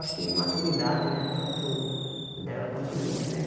Acho que imaturidade né, tanto dela quanto minha, né?